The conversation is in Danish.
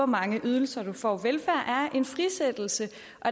mange ydelser du får velfærd er en frisættelse